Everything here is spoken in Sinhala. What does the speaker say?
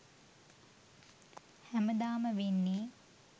හැමදාම වෙන්නේ